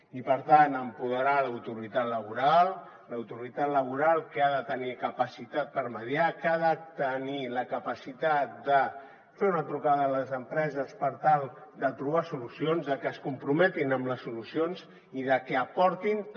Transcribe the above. i per tant empoderar l’autoritat laboral l’autoritat laboral que ha de tenir capacitat per mediar que ha de tenir la capacitat de fer una trucada a les empreses per tal de trobar solucions de que es comprometin amb les solucions i de que aportin també